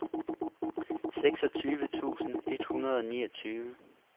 seksogtyve tusind et hundrede og niogtyve